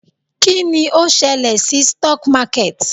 Kí ni ó ṣẹlẹ̀ sí stock market?